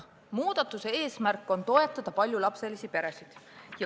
Aga muudatuse eesmärk on toetada paljulapselisi peresid.